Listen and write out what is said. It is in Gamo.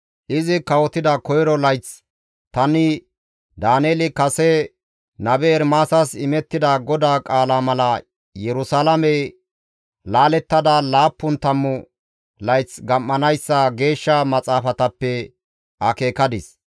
Izi kawotida koyro layththi tani Daaneeli kase nabe Ermaasas imettida GODAA qaala mala Yerusalaamey laalettada laappun tammu layth gam7anayssa geeshsha maxaafatappe akeekadis.